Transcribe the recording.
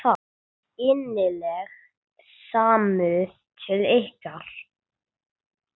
Innileg samúð til ykkar.